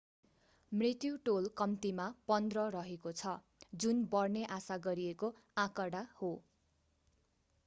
मृत्यु टोल कम्तिमा 15 रहेको छ जुन बढ्ने आशा गरिएको आँकडा हो